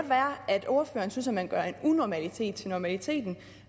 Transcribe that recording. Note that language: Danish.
være at ordføreren synes at man gør en unormalitet til normalitet